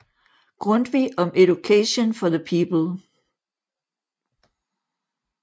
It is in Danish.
Grundtvig on Education for the People